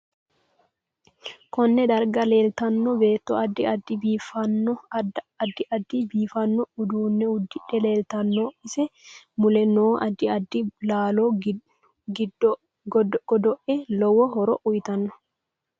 Konne darga leltanno beeto addi addi biifanno uduune udidhe leeltano ise mule noo addi addi laalo giddoae lowo horo uyiitanno